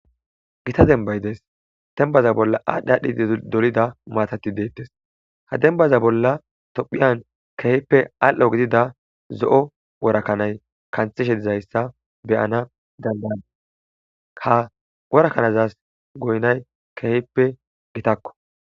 Gita dembbay dees. Dembbaza bolla aadhdhi aadhdhi dolida maatati deetes. Ha dembbaza bollan tophphiyan keehippe alli'o gidida zo'o wora kanay kanththishe dizayssa be'ana danda'adis. Ha wora kanazas goynay keehippe gitakko.